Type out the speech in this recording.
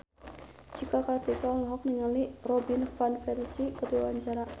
Cika Kartika olohok ningali Robin Van Persie keur diwawancara